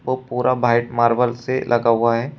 वो पूरा white marble से लगा हुआ है।